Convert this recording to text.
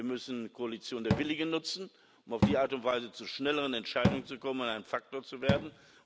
Wir müssen die Koalition der Willigen nutzen, um auf die Art und Weise zu schnelleren Entscheidungen zu kommen, um ein Faktor zu werden.